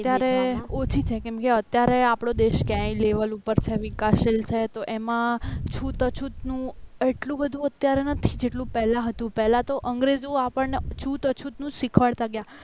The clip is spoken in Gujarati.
ત્યારે ઓછી છે કેમકે અત્યારે આપણો દેશ કયા લેવલ ઉપર છે વિકાસશીલ છે તો એમાં છૂત અછૂતનું એટલું બધું અત્યારે નથી જેટલું પહેલા હતું પહેલા તો અંગ્રેજો આપણને છૂટ અછતનું જ શીખવાડતા હતા કયા